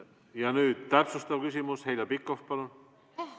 Ja nüüd täpsustav küsimus, Heljo Pikhof, palun!